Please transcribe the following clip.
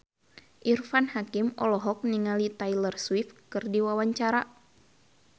Irfan Hakim olohok ningali Taylor Swift keur diwawancara